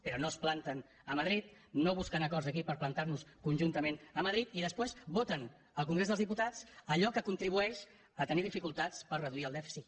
però no es planten a madrid no busquen acords aquí per plantar nos conjuntament a madrid i després voten al congrés dels diputats allò que contribueix a tenir dificultats per reduir el dèficit